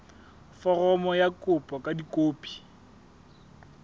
foromo ya kopo ka dikopi